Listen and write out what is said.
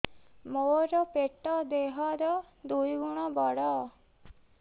ମୋର ପେଟ ଦେହ ର ଦୁଇ ଗୁଣ ବଡ